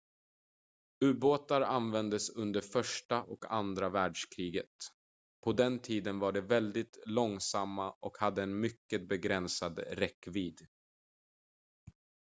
ubåtar användes under första och andra världskriget på den tiden var de väldigt långsamma och hade en mycket begränsad räckvidd